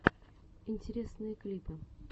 интересные клипы